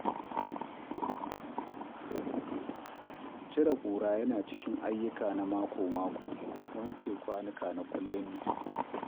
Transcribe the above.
Cire kura yana cikin jerin ayyuka na mako-mako, wanke kwanuka kuwa kullum ne.